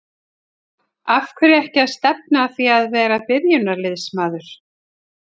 Af hverju ekki að stefna að því að vera byrjunarliðsmaður?